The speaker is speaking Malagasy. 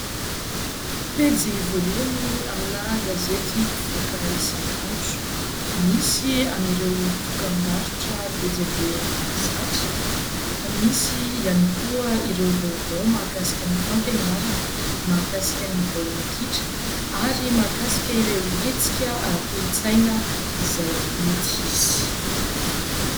Pejy voalohany amina gazety mpivoaka isan'andro, misy an'ireo dokam-barotra be dia be mahazatra fa misy ihany koa ireo vaovao mahakasika ny fampianarana, mahakasika ny baolina kitra ary mahakasika ireo hetsika ara-kolontsaina izay mety hisy.